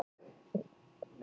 En hver ætti þá að taka við?